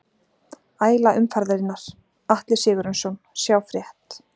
Æla umferðarinnar: Atli Sigurjónsson Sjá frétt